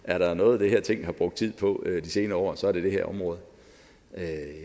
er der noget det her ting har brugt tid på i de senere år så er det det her område